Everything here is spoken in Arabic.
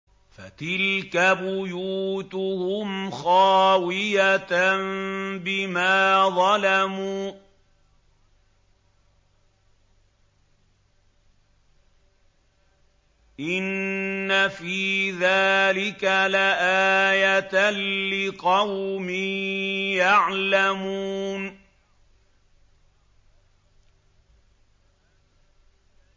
فَتِلْكَ بُيُوتُهُمْ خَاوِيَةً بِمَا ظَلَمُوا ۗ إِنَّ فِي ذَٰلِكَ لَآيَةً لِّقَوْمٍ يَعْلَمُونَ